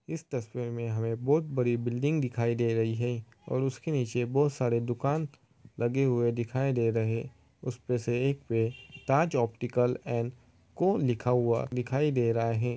इस तस्वीर में हमें बहुत बड़ी बिल्डिंग दिखाई दे रही है और उसके नीचे बहुत सारे दुकान लगे हुए दिखाई दे रहे। उसपे से एक पे ताज ऑप्टिकल एंड को लिखा हुआ दिखाई दे रहा है।